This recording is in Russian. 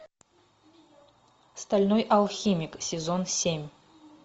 стальной алхимик сезон семь